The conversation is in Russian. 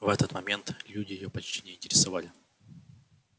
в этот момент люди её почти не интересовали